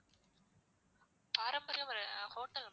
பாரம்பரியம் hotel ma'am